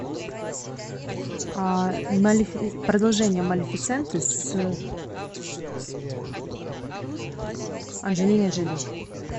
продолжение малефисенты с анджелиной джоли